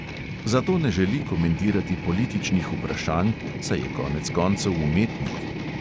Zato ne želi komentirati političnih vprašanj, saj je konec koncev umetnik.